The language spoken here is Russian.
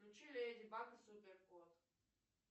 включи леди баг и супер кот